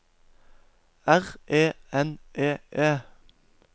R E N E E